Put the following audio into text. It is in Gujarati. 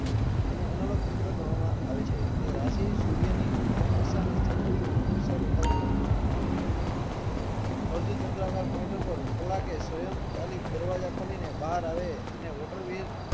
તેને analog કમ્પ્યુટર ગણવામાં આવે છે તે રાશિ સૂર્ય ની ચંદ્ર ની દસ બતાવ તું હતું અર્ધ તંત્ર કર પોઈન્ટો પેર કલાકે સ્વયં ચાલીસ દરવાજા ખોલીને બહાર આવે ને